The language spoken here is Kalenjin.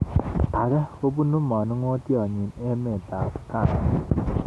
Age kobunu manung'otyot nyi emet ab ghana